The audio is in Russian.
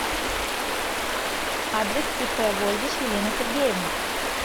адрес ип вольвич елена сергеевна